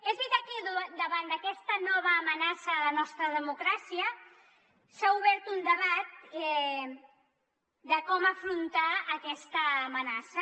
és veritat que davant d’aquesta nova amenaça a la nostra democràcia s’ha obert un debat de com afrontar aquesta amenaça